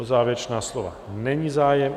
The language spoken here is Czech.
O závěrečná slova není zájem.